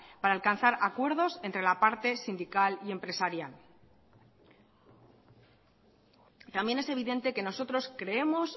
para alcanzar acuerdos entre la parte sindical y empresarial también es evidente que nosotros creemos